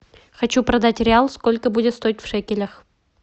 хочу продать реал сколько будет стоить в шекелях